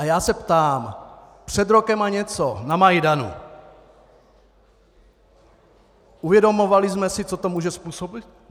A já se ptám: Před rokem a něco na Majdanu - uvědomovali jsme si, co to může způsobit?